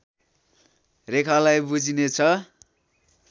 रेखालाई बुझिनेछ